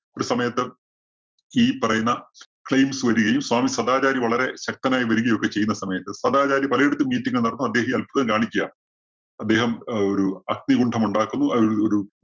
ഒരു സമയത്ത് ഈ പറയുന്ന claims വരികയും, സ്വാമി സദാചാരി വളരെ ശക്തനായി വരികയും ഒക്കെ ചെയ്യുന്ന സമയത്ത് സദാചാരി പലയിടത്തും meeting നടത്തുന്നു അദ്ദേഹം ഈ അത്ഭുതം കാണിക്കയാ. അദ്ദേഹം ഒരു അഗ്നികുണ്ഡം ഉണ്ടാക്കുന്നു അതിൽ ഒരു